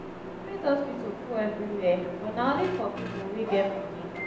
private hospital full everywhere but na only for pipo wey get moni.